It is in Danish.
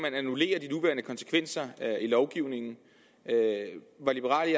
i konsekvenser i lovgivningen var liberal